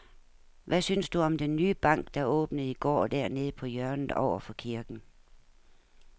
Hvad synes du om den nye bank, der åbnede i går dernede på hjørnet over for kirken?